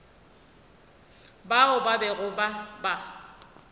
bao ba bego ba ba